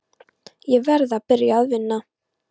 Ég verð að byrja að vinna.